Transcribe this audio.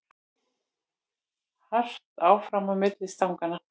Hart áfram á milli stanganna